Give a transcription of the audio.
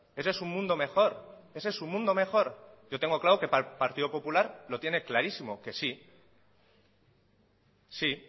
ese es su mundo mejor ese es un mundo mejor yo tengo claro que para el partido popular lo tiene clarísimo que sí sí